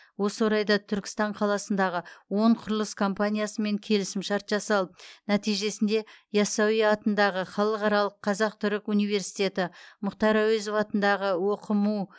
осы орайда түркістан қаласындағы он құрылыс компаниясымен келісім шарт жасалып нәтижесінде ясауи атындағы халықаралық қазақ түрік университеті мұхтар әуезов атындағы оқму